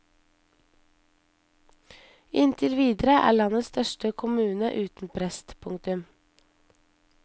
Inntil videre er landets største kommune uten prest. punktum